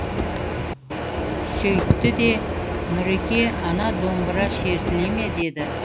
сөйтті де нұреке ана домбыра шертіле ме деді